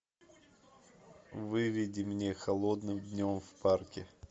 выведи мне холодным днем в парке